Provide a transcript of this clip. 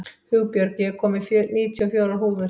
Hugbjörg, ég kom með níutíu og fjórar húfur!